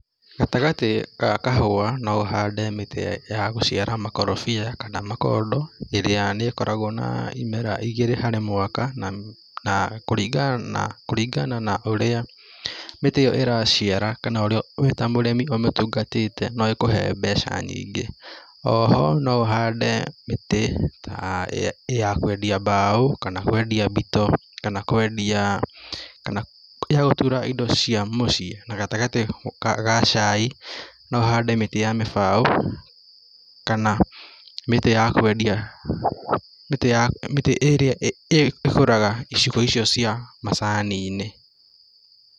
Gatagatĩ ga kahũa no ũhande mĩtĩ ya gũciara makorobia kana makondo ĩrĩa nikoragwo na imera igĩrĩ harĩ mwaka, na na kũringana na kũringana na ũrĩa mĩtĩ ĩyo ĩraciara kana ũrĩa wĩ ta mũrĩmi umĩtungatĩte no ĩkũhe mbeca nyingĩ, oho no ũhande mĩtĩ aa ta ya kũendia mbaũ, kana ya kũendia mbito, kana kũendiaa kana ya gũtura indo cia mũciĩ na gatagatĩ ga cai no ũhande mĩtĩ ya mĩbaũ, kana mĩtĩ ya kũendia mĩtĩ ya mĩtĩ ĩ ĩrĩa ĩkũraga icigo icio cia macani-inĩ.